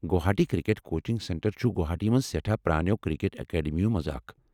Guwahati cricket coaching centre چھ گوہاٹی منٛز سیٹھاہ پرٛانٮ۪و کرکٹ اکیڈمیو منٛز اکھ ۔